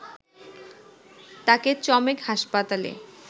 তাকে চমেক হাসপাতালে